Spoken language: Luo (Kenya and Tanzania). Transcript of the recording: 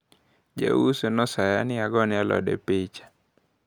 Jauso nosaya ni agone alode picha.